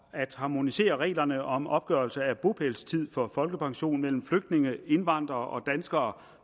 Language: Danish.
at harmonisere reglerne om opgørelse af bopælstid for folkepension mellem flygtninge indvandrere og danskere